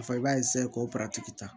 A fɔ i b'a k'o ta